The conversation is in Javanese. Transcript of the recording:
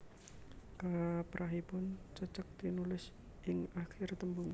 Kaprahipun cecek tinulis ing akir tembung